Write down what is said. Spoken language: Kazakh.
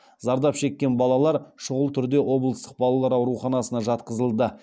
зардап шеккен балалар шұғыл түрде облыстық балалар ауруханасына жатқызылды